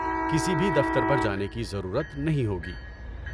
کسی بھی دفتر پر جانے کی ضرورت نہیں ہوگی۔